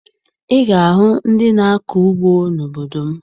Ị ga-ahụ ndị na-akọ ugbo n'obodo m